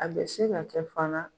A bɛ se ka kɛ fana